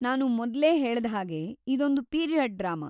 ನಾನು ಮೊದ್ಲೇ ಹೇಳ್ದ ಹಾಗೆ ಇದೊಂದು ಪೀರಿಯಡ್ ಡ್ರಾಮಾ.